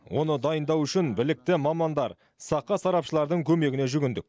оны дайындау үшін білікті мамандар сақа сарапшылардың көмегіне жүгіндік